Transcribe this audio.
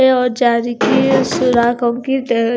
ये और जारी की और सुराखों की ड--